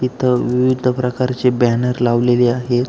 इथ विविध प्रकारचे बॅनर लावलेले आहे.